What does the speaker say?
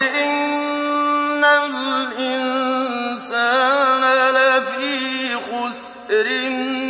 إِنَّ الْإِنسَانَ لَفِي خُسْرٍ